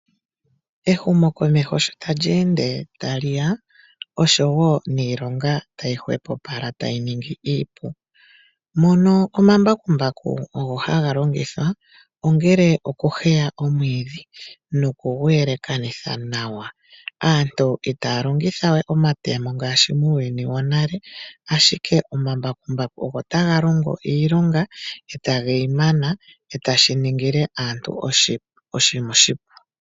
Ehumokomeho shi tali ende tali ya oshowo niilonga tayi hwepopala tayi ningi iipu. Mono omambakumbaku ogo haga longithwa ongele okuheya omwiidhi noku gu yelekanitha nawa. Aantu itaya longitha we omatemo ngaashi muuyuni wonale, ashike omambakumbaku ogo taga longo iilonga tage yi mana e tashi ningile aantu oshinima oshipu.